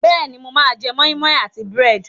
Bẹ́ẹ̀ni, mo máa jẹ́ moi moi àti búrẹ́dì.